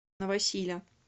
новосиля